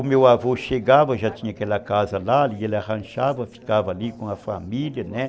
O meu avô chegava, já tinha aquela casa lá, e ele arranchava, ficava ali com a família, né?